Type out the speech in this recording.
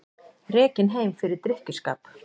Rekinn heim fyrir drykkjuskap